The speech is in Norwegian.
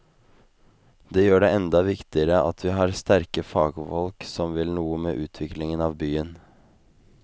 Det gjør det enda viktigere at vi har sterke fagfolk som vil noe med utviklingen av byen.